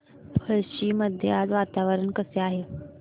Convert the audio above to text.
पळशी मध्ये आज वातावरण कसे आहे